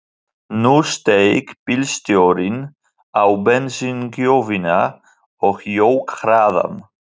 Nú steig bílstjórinn á bensíngjöfina og jók hraðann.